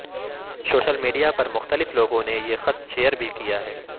social media پر مختلف لوگوں نے یہ خط شیئر بھی کیا ہے